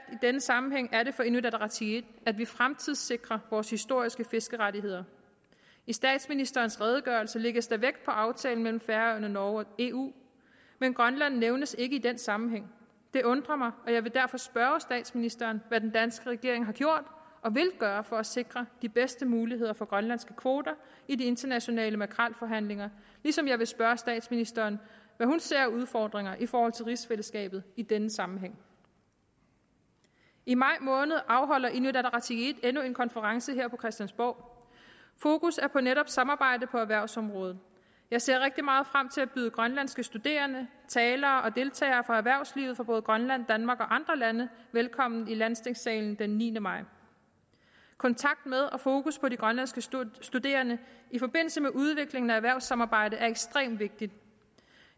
denne sammenhæng er det for inuit ataqatigiit at vi fremtidssikrer vores historiske fiskerettigheder i statsministerens redegørelse lægges der vægt på aftalen mellem færøerne norge og eu men grønland nævnes ikke i den sammenhæng det undrer mig og jeg vil derfor spørge statsministeren hvad den danske regering har gjort og vil gøre for at sikre de bedste muligheder for grønlandske kvoter i de internationale makrelforhandlinger ligesom jeg vil spørge statsministeren hvad hun ser af udfordringer i forhold til rigsfællesskabet i denne sammenhæng i maj måned afholder inuit ataqatigiit endnu en konference her på christiansborg fokus er på netop samarbejde på erhvervsområdet jeg ser rigtig meget frem til at byde grønlandske studerende talere og deltagere fra erhvervslivet i både grønland danmark og andre lande velkommen i landstingssalen den niende maj kontakt med og fokus på de grønlandske studerende i forbindelse med udviklingen af erhvervssamarbejde er ekstremt vigtigt